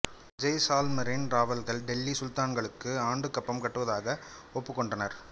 ஜெய்சால்மரின் ராவல்கள் டெல்லி சுல்தான்களுக்கு ஆண்டுக் கப்பம் கட்டுவதாக ஒப்புக் கொண்டனர்